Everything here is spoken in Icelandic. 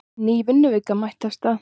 Ný vinnuvika er mætt af stað.